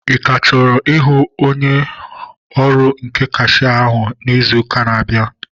Ị ka chọrọ ịhụ onye ọrụ nke kashia ahụ izu ụka na-abịa?